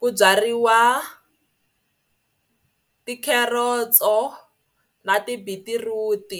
ku byariwa ti-carrots-o na ti-beetroot.